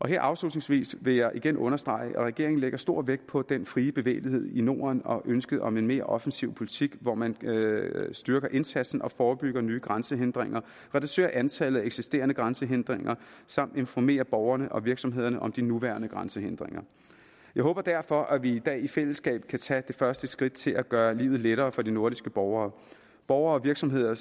her afslutningsvis vil jeg igen understrege at regeringen lægger stor vægt på den frie bevægelighed i norden og ønsket om en mere offensiv politik hvor man styrker indsatsen og forebygger nye grænsehindringer reducerer antallet af eksisterende grænsehindringer samt informerer borgerne og virksomhederne om de nuværende grænsehindringer jeg håber derfor at vi i dag i fællesskab kan tage det første skridt til at gøre livet lettere for de nordiske borgere borgere og virksomheder